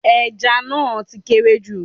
Ẹja náà ti kéré jù